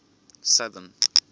southern